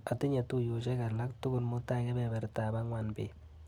Atinye tuiyosiek alak tukul mutai kebebertap angwan bet.